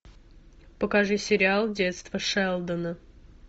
покажи сериал детство шелдона